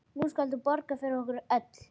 Nú skalt þú borga fyrir okkur öll.